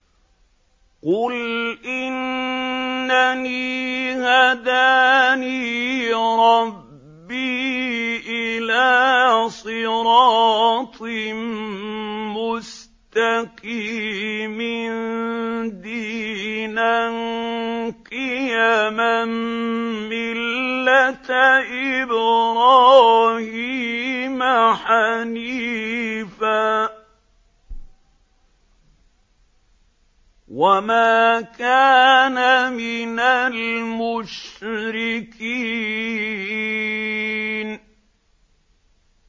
قُلْ إِنَّنِي هَدَانِي رَبِّي إِلَىٰ صِرَاطٍ مُّسْتَقِيمٍ دِينًا قِيَمًا مِّلَّةَ إِبْرَاهِيمَ حَنِيفًا ۚ وَمَا كَانَ مِنَ الْمُشْرِكِينَ